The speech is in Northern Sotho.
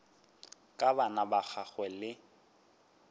ka bana ba gagwe le